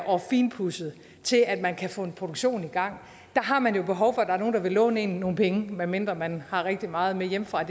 og finpudset til at man kan få en produktion i gang har man behov for at der er nogen der vil låne en nogle penge medmindre man har rigtig meget med hjemmefra